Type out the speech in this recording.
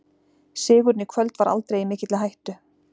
Sigurinn í kvöld var aldrei í mikilli hættu.